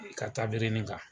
I ka taburenin kan.